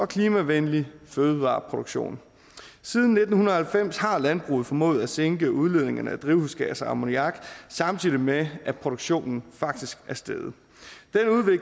klimavenlig fødevareproduktion siden nitten halvfems har landbruget formået at sænke udledningen af drivhusgasser og ammoniak samtidig med at produktionen faktisk er steget